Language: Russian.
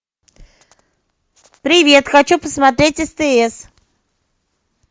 привет хочу посмотреть стс